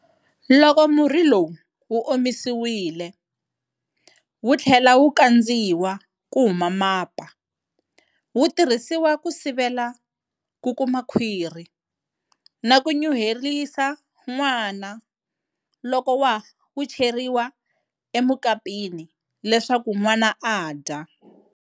Loko murhi lowu wu omisiwile, wu tlhela wu kandziwa ku huma mapa, wu tirhisiwa ku sivela ku kuma khwiri na ku nyuhelisa nwana loko wu cheriwa emukapeni leswaku nwana a dya.